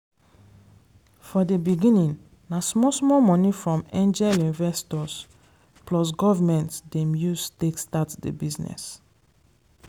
for dey beginning na small small money from angel investors plus government dem use take start dey business.